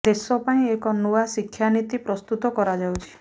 ଦେଶ ପାଇଁ ଏକ ନୂଆ ଶିକ୍ଷା ନୀତି ପ୍ରସ୍ତୁତ କରାଯାଉଛି